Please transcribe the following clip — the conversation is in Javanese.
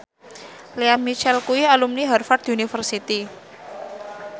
Lea Michele kuwi alumni Harvard university